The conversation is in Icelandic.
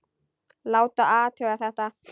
Láta athuga þetta.